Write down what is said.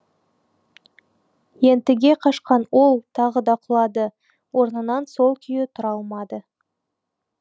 ентіге қашқан ол тағы да құлады орнынан сол күйі тұра алмады